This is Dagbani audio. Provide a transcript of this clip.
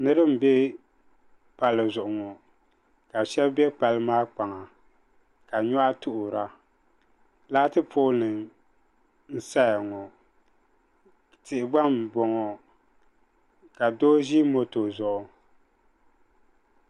Niriba m be palli zuɣu ŋɔ ka shɛb be palli maa kpaŋa ka nyɔhi tuɣira laati poolinima n saya ŋɔ tihi gba m bɔŋɔ ka doo ʒi moto zuɣu